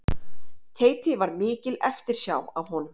Teiti var mikil eftirsjá af honum.